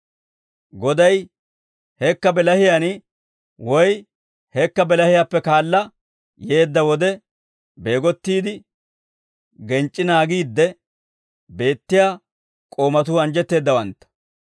Goday hekka bilahiyaan woy hekka bilahiyaappe kaala yeedda wode, beegottiide genc'c'i naagiidde beettiyaa k'oomatuu anjjetteeddawantta.